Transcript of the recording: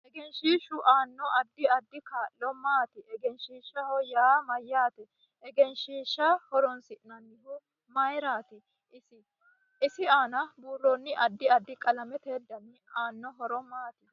Egenshiishu aanno addi addi kaa'lo maati egenshiishaho yaa mayaate egenshiisha horoonsinanihu mayiirati isi aana buurooni addi addi qalamete dani aano horo maati